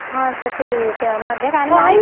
ਅੱਛਾ ਠੀਕ ਆ ਮੈ ਅੱਗੇ ਕਹਿਣ ਦੀ ਮੈ ਕਿਹਾ